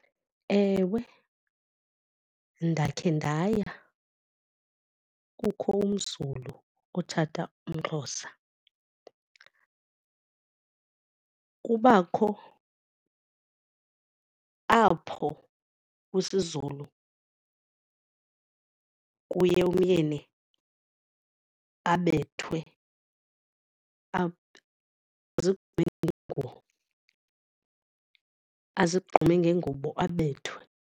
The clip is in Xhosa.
Ewe, ndakhe ndaya kukho umZulu otshata umXhosa. Kubakho apho kwisiZulu kuye umyeni abethwe azigqume ngengubo abethwe.